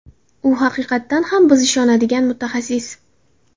U haqiqatan ham biz ishonadigan mutaxassis.